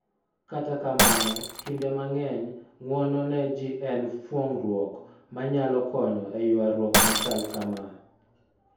Kata kamano, kinde mang�eny, ng'uono ne ji en fuong'ruok ma nyalo konyo e ywaruok ma chal kama.